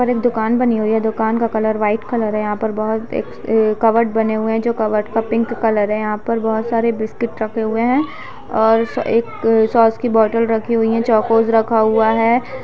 दुकान बनी हुई है दुकान का कलर व्हाइट कलर है यहाँ पर बहुत ऐ कबर्ड बने हुए है जो कबर्ड का पिंक कलर है यहाँ पर बहुत सारे बिस्किट रखे हुए है और एक सॉस की बॉटल रखी हुई है चौकोस रखा हुआ हैं।